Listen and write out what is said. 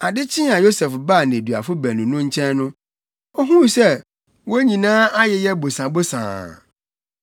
Ade kyee a Yosef baa nneduafo baanu no nkyɛn no, ohuu sɛ wɔn nyinaa ayeyɛ bosobosoo.